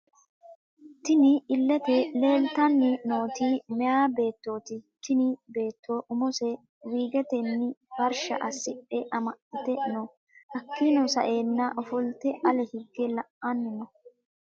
Tinni illete leelitanni nooti miyaa beettoti tinni Beetto umose wiigetenni farishsha asidhe amaxite no hakiino sa'eena ofolite ale higge la'ani no.